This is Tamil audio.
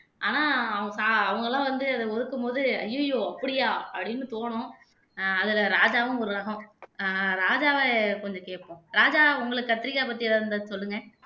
ஆனா அவங்க எல்லாம் வந்து அதை ஒதுக்கும்போது ஐயையோ அப்படியா அப்படின்னு தோணும் ஆஹ் அதில ராஜாவும் ஒரு ரகம் ஆஹ் ராஜாவை கொஞ்சம் கேப்போம் ராஜா உங்களுக்கு கத்திரிக்காய் பத்தி ஏதாவது இருந்தா சொல்லுங்க